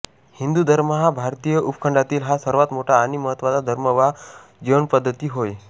हिंदू धर्म हा भारतीय उपखंडातील हा सर्वात मोठा आणि महत्त्वाचा धर्म वा जीवनपद्धती होय